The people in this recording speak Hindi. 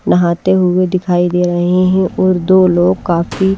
नहाते हुए दिखाई दे रहे हैं और दो लोग काफी--